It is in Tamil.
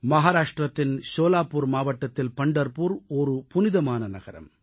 மகாராஷ்ட்ரத்தின் சோலாபுர் மாவட்டத்தில் பண்டர்புர் புனிதமான நகரம்